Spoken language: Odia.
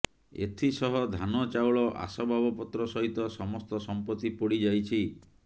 ଏଥିସହ ଧାନ ଚାଉଳ ଆସବାବପତ୍ର ସହିତ ସମସ୍ତ ସମ୍ପତ୍ତି ପୋଡ଼ି ଯାଇଛି